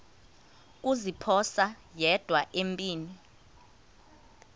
kuziphosa yedwa empini